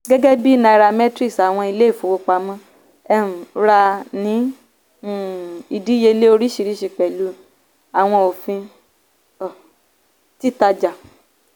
gẹ́gẹ́bí nairametrics àwọn ilé-ìfówópamọ́ um rà ní um ìdíyelé oríṣìríṣi pẹ̀lú àwọn òfin um títàjà.